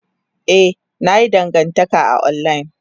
Ee, na yi dangantaka a online.